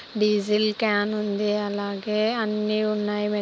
Diesel can ఉంది. అలాగే అన్ని ఉన్నాయి.